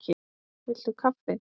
Viltu kaffi?